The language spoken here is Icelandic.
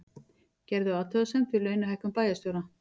Gerðu athugasemd við launahækkun bæjarstjóra